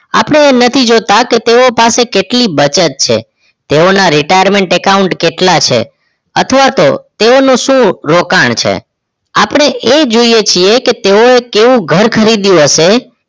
આપણે એ નથી જોતાં કે તેઓ પાસે કેટલી બચત છે તેઓના Retirement account કેટલા છે અથવા તો તેઓ નું શું રોકણ છે આપણે એ જોઈ છે કે તેઓ કેવું ઘર ખરીદ્યું હશે